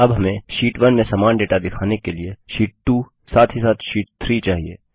अब हमें शीट 1 में समान डेटा दिखाने के लिए शीट 2 साथ ही साथ शीट 3 चाहिए